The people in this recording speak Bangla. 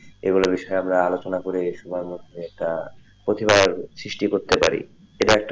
এগুলা বিষয় আমরা আলোচনা করে গেছে সবার মধ্যে একটা প্রতিভার সৃষ্টি করতে পারি এটা,